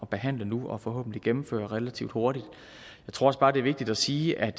behandle nu og forhåbentlig får gennemført relativt hurtigt jeg tror bare det vigtigt at sige at